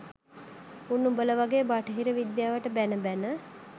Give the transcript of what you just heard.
උන් උඹල වගේ බටහිර විද්‍යාවට බැන බැන